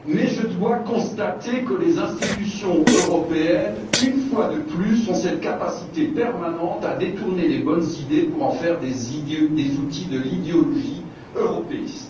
Je dois pourtant constater que les institutions européennes, une fois de plus, ont cette capacité permanente à détourner les bonnes idées pour en faire des outils de l'idéologie européiste.